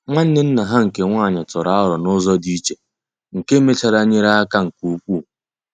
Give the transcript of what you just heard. Nwanne nna ha nke nwanyị ya tụrụ aro n'ụzọ dị iche, nke mechara nyere aka nke ukwuu.